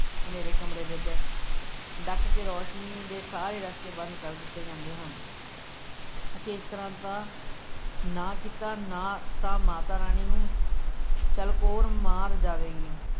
ਹਨੇਰੇ ਕਮਰੇ ਵਿੱਚ ਡੱਕ ਕੇ ਰੌਸ਼ਨੀ ਦੇ ਸਾਰੇ ਰਸਤੇ ਬੰਦ ਕਰ ਦਿੱਤੇ ਜਾਂਦੇ ਹਨ ਅਤੇ ਇਸ ਤਰ੍ਹਾ ਦਾ ਨਾ ਕੀਤਾ, ਨਾ ਤਾਂ ਮਾਤਾ ਰਾਣੀ ਨੂੰ ਚਲਕੋਰ ਮਾਰ ਜਾਵੇਗੀ।